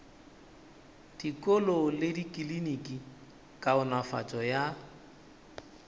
dikolo le dikliniki kaonafatšo ya